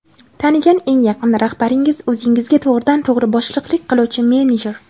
Tanigan eng yaqin rahbaringiz o‘zingizga to‘g‘ridan to‘g‘ri boshliqlik qiluvchi menejer.